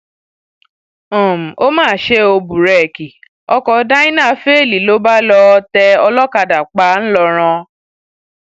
um ó mà ṣe ò búrẹẹkì ọkọ dyna féèlì ló bá lọọ um tẹ olókàdá pa ńlọrọn